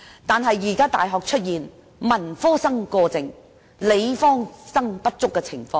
不過，現時大學出現文科生過剩，理科生不足的情況。